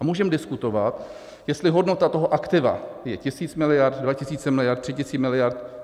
A můžeme diskutovat, jestli hodnota toho aktiva je tisíc miliard, dva tisíce miliard, tři tisíce miliard.